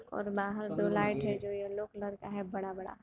और बाहर को लाइट है जो येलो कलर का है बड़ा-बड़ा।